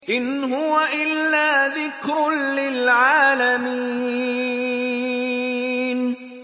إِنْ هُوَ إِلَّا ذِكْرٌ لِّلْعَالَمِينَ